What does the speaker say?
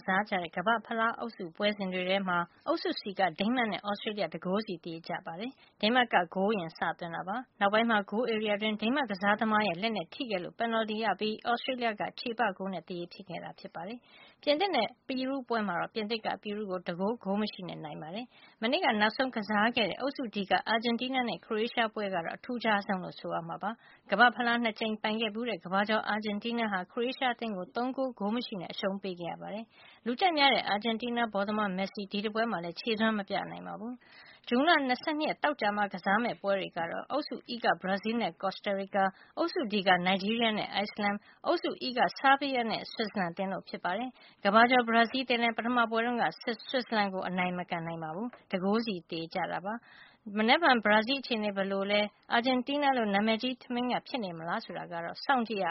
စားခဲ့ကြတဲ့ ကမ္ဘာ့ဖလားအုပ်စုပွဲစဉ်တွေထဲမှာ အုပ်စု C က ဒိန်းမတ်နဲ့ သြစတေးလျှ ၁ဂိုးစီ သရေကျ ခဲ့ပါတယ်။ ဒိန်းမတ်က ဂိုးအရင်စသွင်းခဲ့တာပါ နောက်ပိုင်းမှာ ဂိုးဧရီယာအတွင်း ဒိန်းမတ်ကစားသမားရဲ့လက်နဲ့ထိခဲ့လို့ ပင်နလ်တီရပြီး သြစတေးလျှက ချေပဂိုးနဲ့ သရေဖြစ်ခဲ့တာပါ။ ပြင်သစ်နဲ့ပီရူးပွဲမှာတော့ ပြင်သစ်က ပီရူးကို ၁ဂိုး ဂိုးမရှိနဲ့ အနိုင်ရခဲ့ပါတယ်။ မနေ့ကနောက်ဆုံးကစားခဲ့တဲ့ အုပ်စု D က အာဂျင်တီးနားနဲ့ ခရိုအေးရှားပွဲကတော့ အထူးခြားဆုံးလို့ ဆိုရမှာပါ။ ကမ္ဘာ့ဖလားကို ၂ကြိမ်ပိုင်ခဲ့ဖူးတဲ့ ကမ္ဘာကျော်အာဂျင်တီးနားဟာ ခရိုအေးရှားအသင်းကို ၃ဂိုး ဂိုးမရှိနဲ့အရှုံးပေး ခဲ့ရပါတယ်။ လူကြိုက်များတဲ့ အာဂျင်တီးနားဘောလုံးသမား မက်ဆီ ဒီတပွဲမှာလည်းခြေစွမ်းမပြနိုင်ခဲ့ပါဘူး။ မနက်ဖြန်ဇွန် ၂၂ ရက်မှာ ကစားကြမယ့်ပွဲတွေကတော့ အုပ်စုE က ဘရာဇီးလ်နဲ့ ကော်စတာရီကာ၊ အုပ်စု Dက နိုက်ဂျီးရီးယားနဲ့ အိုက်စလန် အုပ်စု Eက ဆားဘီးယားနဲ့ ဆွစ်ဇာလန်အသင်းတို့ဖြစ်ကြပါတယ်။ ကမ္ဘာကျော် ဘရာဇီးအသင်းလည်း ပထမပွဲတုန်းက ဆွစ်ဇာလန်ကို အနိုင် မကန်နိုင်ခဲ့ပါဘူး။ ၁ဂိုးစီသရေကျခဲ့ပါတယ်။ မနက်ဖြန် ဘရာဇီးအခြေအနေ ဘယ်လိုလဲ အာဂျင်တီး နားလို နာမည်ကြီးထမင်းငတ်ဖြစ်နေမလားဆိုတာကို စောင့်ကြည့်ရ